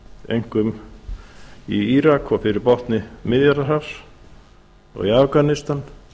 einkum í írak og fyrir botni miðjarðarhafs og í afganistan